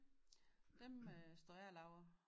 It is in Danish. Dem står jeg og laver